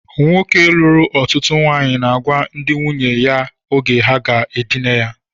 Nwoke lụrụ ọtụtụ ụmụnwaanyị na-agwa ndị nwunye ya oge ha ga-edina ya